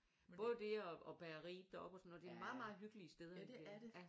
Både det og bageriet deroppe og sådan noget det er meget meget hyggelige steder